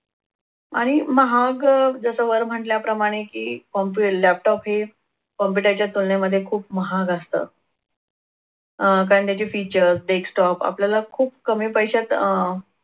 आणि महाग अह जसं वर म्हटल्याप्रमाणे की computer laptop हे computer च्या तुलनेमध्ये खूप महाग असतं. अह कारण त्याचे features desktop आपल्याला खूप कमी पैशात अह